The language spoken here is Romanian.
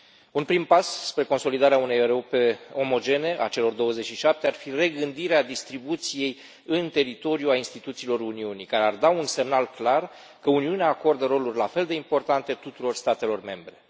Un prim pas spre consolidarea unei rute omogene a celor 27 ar fi regândirea distribuției în teritoriu a instituțiilor Uniunii, care ar da un semnal clar că Uniunea acordă roluri la fel de importante tuturor statelor membre.